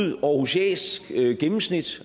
et aarhusiansk gennemsnit